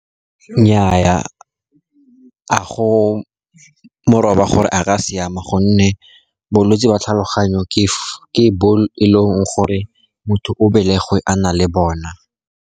Nnyaa, a go moraba gore a ka siama, gonne bolwetsi jwa tlhaloganyo ke bo eleng gore motho o belegwe a na le bona.